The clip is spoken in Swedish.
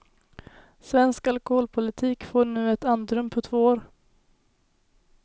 Svensk alkoholpolitik får nu ett andrum på två år.